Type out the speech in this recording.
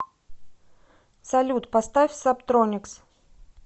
салют поставь сабтроникс